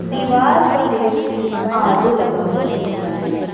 दीवार पर एक आर_ओ लगा हुआ नजर आ रहा है।